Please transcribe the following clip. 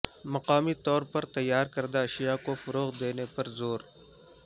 مقامی طور پر تیارکردہ اشیاء کو فروغ دینے پر زور